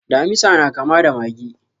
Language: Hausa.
Damisa na kama da mage.